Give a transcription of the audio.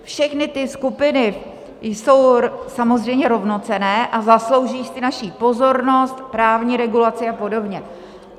Všechny ty skupiny jsou samozřejmě rovnocenné a zaslouží si naši pozornost, právní regulaci a podobně.